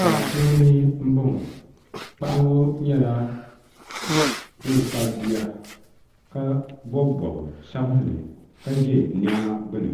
Baa puuni m boŋɔ paɣa ŋɔ nyɛla ŋun kpabi bia ka bobi bob'sabinli ka ʒɛ niɛma gbini